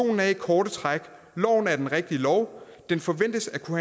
er i korte træk loven er den rigtige lov den forventes at kunne